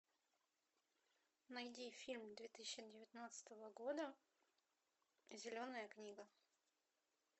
найди фильм две тысячи девятнадцатого года зеленая книга